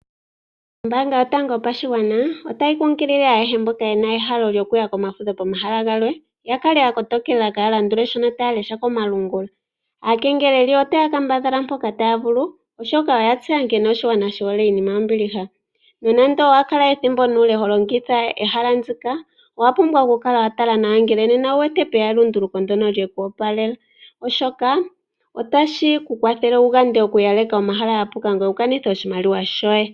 Ombaanga yotango yopashigwana otayi kunkulile ayehe mboka ye na ehalo lyokuya komafudho pomahala galwe, ya kala ya kotokela kaa ya landule shono taya lesha komalungula. Aakengeleli otaya kambadhala mpoka taya vulu, oshoka oya tseya nkene oshigwana shi hole iinima yombiliha. Nonando owa kala ethimbo nuule ho longitha ehala ndika, owa pubwa okukala wa tala nawa ngele nena opwe ya elunduluko ndyoka lye ku opalela, oshoka otashi ku kwathele wu gande okukala wa yaleka omahala ga puka ngoye wu kanithe oshimaliwa shoye.